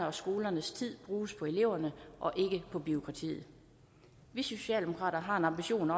og skolernes tid bruges på eleverne og ikke på bureaukrati vi socialdemokrater har en ambition